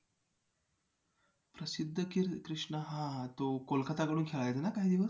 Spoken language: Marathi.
प्रसिद्ध कृष्णा हां हां तो कोलकाताकडून खेळायचा ना काही दिवस